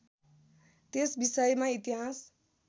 त्यस विषयमा इतिहास